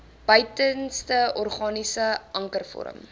buitenste organiese ankervorm